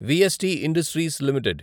VST industries limited